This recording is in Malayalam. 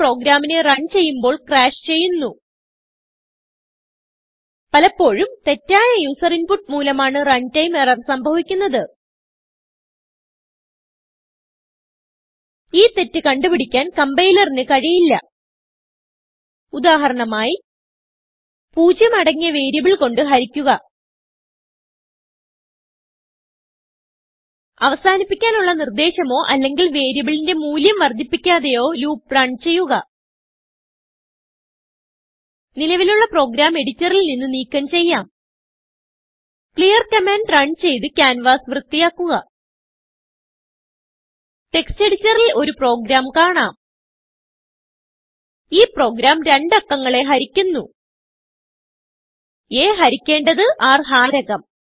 ഇത് പ്രോഗ്രാമിനെ റൺ ചെയ്യുമ്പോൾ crashചെയ്യുന്നു പലപ്പോഴും തെറ്റായ യൂസർ inputമൂലമാണ് റണ്ടൈം എറർ സംഭവിക്കുന്നത് ഈ തെറ്റ് കണ്ടുപിടിക്കാൻ complierന് കഴിയില്ല ഉദാഹരണമായി പൂജ്യം അടങ്ങിയ വേരിയബിൾ കൊണ്ട് ഹരിക്കുക അവസാനിപ്പിക്കാനുള്ള നിർദേശമോ അല്ലെങ്കിൽ വേരിയബിളിന്റെ മൂല്യം വർദ്ധിപ്പിക്കാതെയോ ലൂപ്പ് റൺ ചെയ്യുക നിലവിലുള്ള പ്രോഗ്രാം എഡിറ്ററിൽ നിന്ന് നീക്കം ചെയ്യാം clearകമാൻഡ് റണ് ചെയ്ത് ക്യാൻവാസ് വൃത്തിയാക്കുക ടെക്സ്റ്റ് എഡിറ്ററിൽ ഒരു പ്രോഗ്രാം കാണാം ഈ പ്രോഗ്രാം രണ്ടു അക്കങ്ങളെ ഹരിക്കുന്നു a ഹരിക്കേണ്ടത് rഹാരകം